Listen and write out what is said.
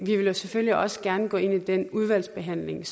vi vil jo selvfølgelig også gerne gå ind i den udvalgsbehandling